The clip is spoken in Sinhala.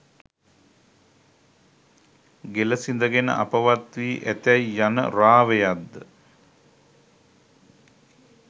ගෙළ සිඳගෙන අපවත් වී ඇතැයි යන රාවයක්ද